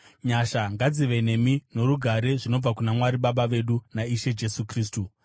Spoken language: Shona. Nyasha ngadzive nemi norugare zvinobva kuna Mwari Baba vedu naIshe Jesu Kristu.